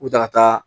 U ta ka taa